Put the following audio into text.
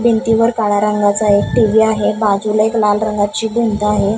भिंतीवर काळ्या रंगाचा एक टी_व्ही आहे बाजूला एक लाल रंगाची भिंत आहे.